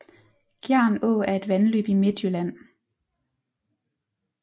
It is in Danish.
Gjern Å er et vandløb i Midtjylland